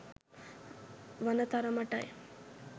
වන තරමටයි?